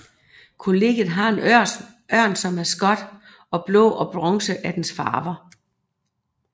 Kollegiet har en ørn som maskot og blå og bronze er dets farver